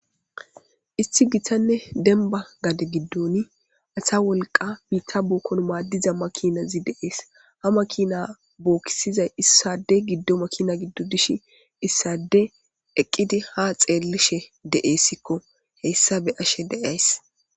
isti gitanne denba gade giddoni asa wolqa biitta bookkon maaddiza makinazi deees ha ma kiina bookkisizay issade giddo makina giddo dishi issade eqqidi ha xeellishe de7eessikko heyssabe ashe deays